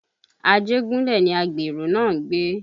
Ajegunle ni àgbèrè náà ń gbé